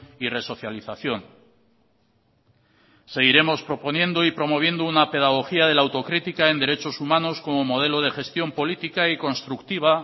y resocialización seguiremos proponiendo y promoviendo una pedagogía de la autocrítica en derechos humanos como modelo de gestión política y constructiva